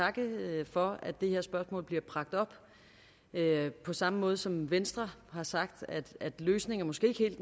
takke for at det her spørgsmål bliver bragt op på samme måde som venstre har sagt at løsningen måske ikke helt